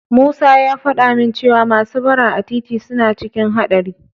Musa ya faɗa min cewa masu bara a titi suna cikin haɗari.